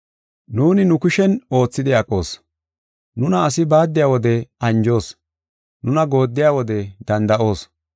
Nuuni nu kushen oothidi aqoos. Nuna asi baaddiya wode anjoos; nuna goodiya wode danda7oos.